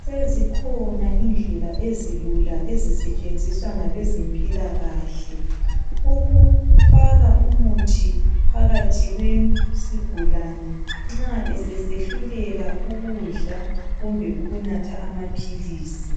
sezikhonaindlela ezilula ezisetshenziswa ngabezempilakahle ukufaka umuthi phakathi kwesigulane nxa esesehluleka ukudla kumbe ukunatha amaphilisi